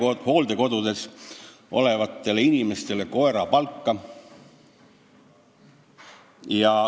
Me maksame hooldekodudes töötavatele inimestele koerapalka.